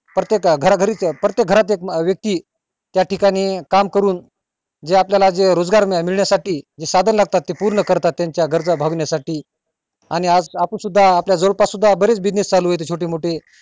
प्रत्येक घरा घरी प्रत्येक घरात एक व्यक्ती त्या ठिकाणी काम करून जे आज आपल्यला रोजगार मिळण्या साठी साधन लागतात ते पूर्ण करतात त्याच्या गरज भागवण्या साठी आणि आज आपण सुद्धा आपल्या जवळ पास सुद्धा बरेच business चालू आहेत छोटे मोठे